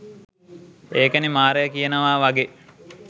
ඒකනේ මාරයා කියනවා වගේ